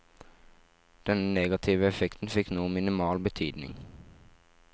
Denne negative effekten fikk nå minimal betydning.